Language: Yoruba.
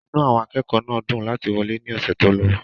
inú àwọn akẹ́kọ̀ọ́ náà dùn láti wọlé ní ọ̀sẹ̀ tó lọ